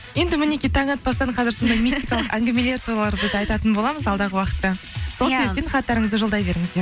енді мінекей таң атпастан қазір мистикалық әңгімелерді туралы біз айтатын боламыз алдағы уақытта сол себептен хаттарыңызды жолдай беріңіздер